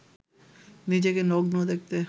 নিজেকে নগ্ন দেখতে